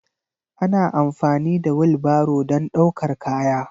Ana amfani da wilbaro don ɗaukar kaya.